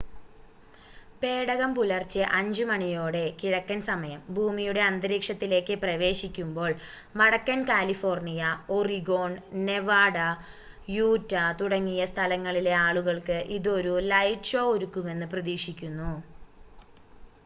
പേടകം പുലർച്ചെ 5 മണിയോടെ കിഴക്കൻ സമയം ഭൂമിയുടെ അന്തരീക്ഷത്തിലേക്ക് പ്രവേശിക്കുമ്പോൾ വടക്കൻ കാലിഫോർണിയ ഒറിഗോൺ നെവാഡ യൂറ്റ തുടങ്ങിയ സ്ഥലങ്ങളിലെ ആളുകൾക്ക് ഇത് ഒരു ലൈറ്റ് ഷോ ഒരുക്കുമെന്ന് പ്രതീക്ഷിക്കുന്നു